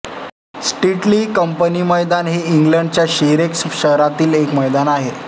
स्टीटली company मैदान हे इंग्लंडच्या शिरेक्स शहरातील एक मैदान आहे